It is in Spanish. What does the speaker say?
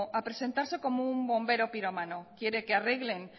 a presentarse como un bombero pirómano quiere que arreglen